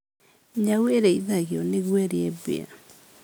Nyau ĩrĩithagio nĩguo ĩrĩe mbĩa.